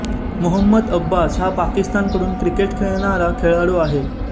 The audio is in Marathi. मोहम्मद अब्बास हा पाकिस्तानकडून क्रिकेट खेळणारा खेळाडू आहे